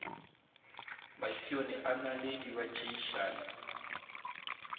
masione a naledi ba tšeišana